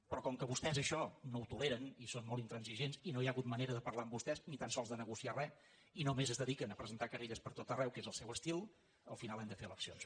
però com que vostès això no ho toleren i són molt intransigents i no hi ha hagut ma·nera de parlar amb vostès ni tan sols de negociar res i només es dediquen a presentar querelles per tot arreu que és el seu estil al final hem de fer eleccions